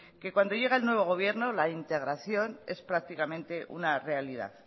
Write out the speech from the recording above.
que cuando llega el nuevo gobierno la integración es prácticamente una realidad